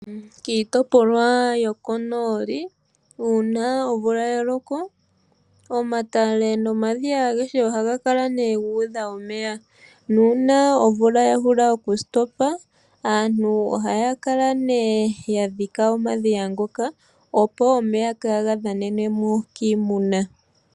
Kiitopolwa yokonooli uuna omvula ya loko omatale nomadhiya agehe ohaga kala nee gu udha omeya nuuna omvula ya hulu okuloka aantu ohaya kala mee yadhika omadhiya ngoka opo omeya kaaga dhanenwemo kiimuna